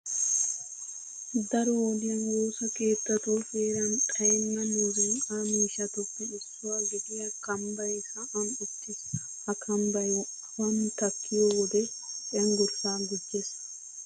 Daro wodiyan woosa keettatu heeran xayenna muzunqqaa miishshatuppe issuwa gidiya kambbay sa'an uttiis. Ha kambbay awan takkiyo wode cenggurssaa gujjees.